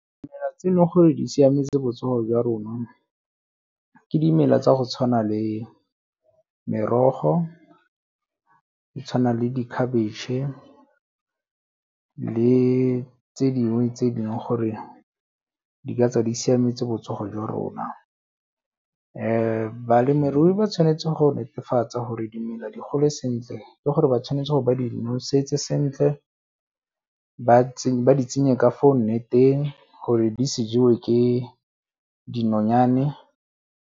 Dimela tse e leng gore di siametse botsogo jwa rona, ke dimela tsa go tshwana le merogo, di tshwana le di-cabbage le tse dingwe tse dingwe gore dingaka di siametse botsogo jwa rona. Balemirui ba tshwanetse go netefatsa gore dimela di gole sentle le gore ba tshwanetse gore ba di nosetse sentle, ba di tsenye ka fa o nneteng gore di se jewe ke dinonyane.